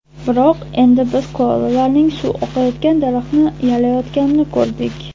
Biroq endi biz koalalarning suv oqayotgan daraxtni yalayotganini ko‘rdik.